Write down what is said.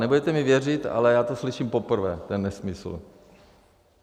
Nebudete mi věřit, ale já to slyším poprvé, ten nesmysl.